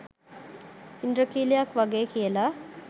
ඉන්ද්‍රඛීලයක් වගේ කියලා.